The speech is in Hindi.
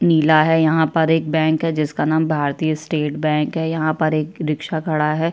नीला है यहाँ पर एक बैंक है जिसका नाम भारतीय स्टेट बैंक है यहाँ पर एक रिक्शा खड़ा है।